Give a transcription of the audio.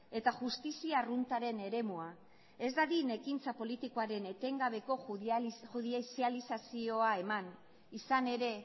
eta justizia arruntaren eremua ez dadin ekintza politikoaren etengabeko judizializazioa eman izan ere